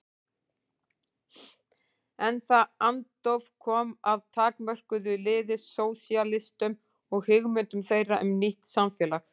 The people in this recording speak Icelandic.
En það andóf kom að takmörkuðu liði sósíalistum og hugmyndum þeirra um nýtt samfélag.